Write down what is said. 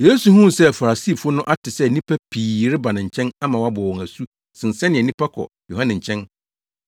Yesu huu se Farisifo no ate sɛ nnipa pii reba ne nkyɛn ama wabɔ wɔn asu sen sɛnea nnipa kɔ Yohane nkyɛn,